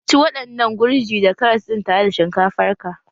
Ci waɗannan gurji da karas din tare da shinkafar ka!